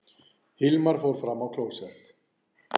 Hilmar fór fram á klósett.